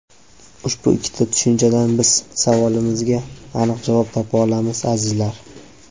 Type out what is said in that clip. Ushbu ikkita tushunchadan biz savolimizga aniq javob topa olamiz, azizlar.